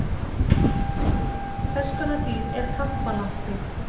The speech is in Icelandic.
Hvers konar dýr er kampalampi?